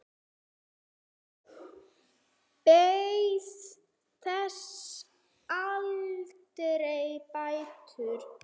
Hann beið þess aldrei bætur.